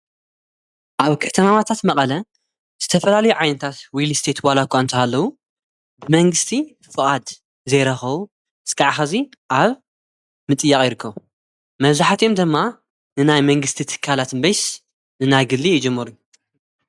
ኣብ ከተማማታት መቐለ ዝተፈላሊ ዓይንታት ዊልስተየትዋልእኳ እንተሃለዉ ብመንግሥቲ ፍቓድ ዘይረኸዉ ዝቃዕኸእዚ ኣብ ምጥያቕ ይርከ መዙኃትዮም ደማ ንናይ መንግሥቲ እትካላት ምበይስ ንናይ ግሊ ኣይጅሙሩ።